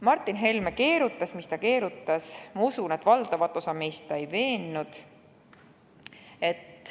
Martin Helme keerutas, mis ta keerutas, aga ma usun, et valdavat osa meist ta ei veennud.